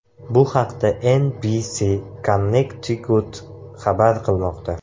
Bu haqda NBC Connecticut xabar qilmoqda .